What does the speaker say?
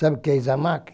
Sabe o que é isamaq?